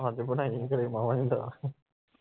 ਅੱਜ ਬਣਾਈ ਓ ਘਰੇ ਮਾਵਾ ਦੀ ਦਾਲ